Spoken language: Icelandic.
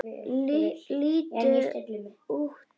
Líttu út sagði hann.